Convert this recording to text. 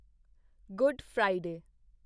good Friday